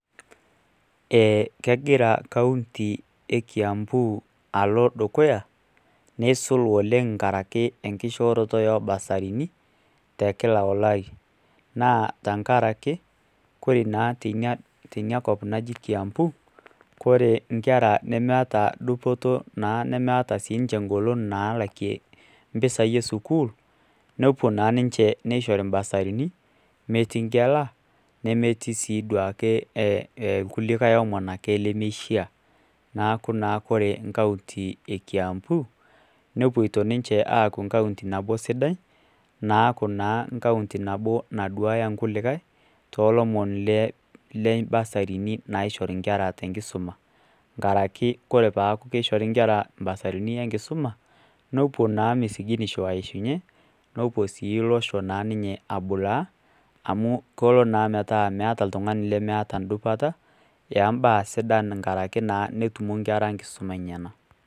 Eeeh kegira County e kiambu alo dukuya neisul oleng inkaraki enkishooroto ooobasarini te kila olari naa tenkaraki kore naa teina kop naji Kiambu kore inkera nemeeta dupoto naa nemeeta dupoto nemeeta sii ninche engolon naalakie impisai e school nepuo naa ninche neishori imbasarini metii nkela nemetii sii duake kulikae omon ake lemeishia neeku ore County e Kiambu nepuoito ninche aaku County nabo sidai naaku naa County nabo naduaya kulikae toolomon le mbasarini naishori ingera tenkisuma nkaraki kore peeku keishori inkera imbasarini enkisuma nepuo naa misikinisho aishunye nepuo naa ninye abulaa amu kepuo naa metaa meeta ndupata eembaa sidan ngaraki naa netumo inkera mbaa sidan nena.